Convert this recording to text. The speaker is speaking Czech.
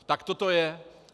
Takto to je.